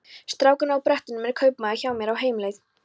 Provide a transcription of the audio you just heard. Strákurinn á brettunum er kaupamaður hjá mér, á heimleið.